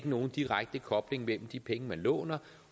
nogen direkte kobling mellem de penge man låner